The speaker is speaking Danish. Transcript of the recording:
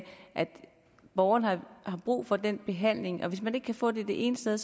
borgerne har brug for den behandling hvis ikke man kan få den det ene sted